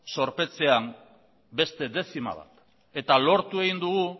zorpetzea beste dezima bat eta lortu egin dugu